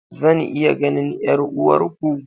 Zan iya ganin 'yar'uwarku?